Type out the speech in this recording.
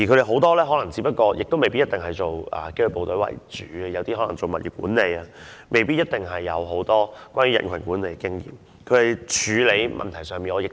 很多保安同事未必一定曾任職紀律部隊，有些可能從事物業管理，未必有很多人群管理的經驗。